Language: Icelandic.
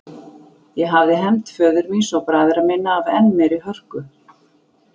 Ég hefði hefnt föður míns og bræðra minna af enn meiri hörku.